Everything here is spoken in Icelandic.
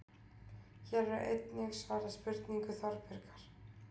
Hér er einnig svarað spurningu Þorbjargar: